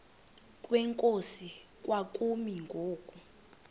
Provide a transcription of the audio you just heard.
kwenkosi kwakumi ngoku